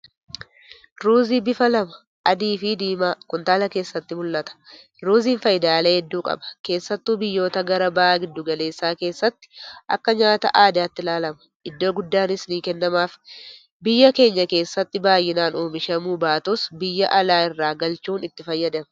Ruuzii bifa lama adiifi diimaa kuntaala keessatti mul'ata. Ruuziin faayidaalee hedduu qaba. Keessattu biyyoota gara baha giddu galeessaa keessatti akka nyaata aadaatti ilaalama. Iddoo guddaas ni kennamaaf. Biyya keenya keessatti baay'inaan oomishamuu baatus , biyya alaa irraa galchuun itti fayyadamna.